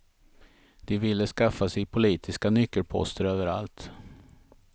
De ville skaffa sig politiska nyckelposter överallt.